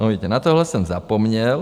No, vidíte, na tohle jsem zapomněl.